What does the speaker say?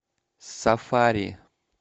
сафари